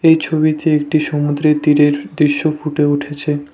এই ছবিতে একটি সমুদ্রের তীরের দৃশ্য ফুটে উঠেছে।